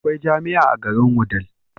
Akwai jamia a garin wudil